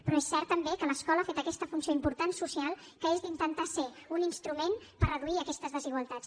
però és cert també que l’escola ha fet aquesta funció important social que és d’intentar ser un instrument per reduir aquestes desigualtats